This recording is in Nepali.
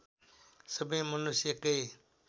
सबै मनुष्य एकै